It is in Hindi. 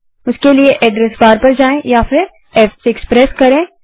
उसके लिए आप एड्रस बार पर जाएँ या फिर फ़6 प्रेस करें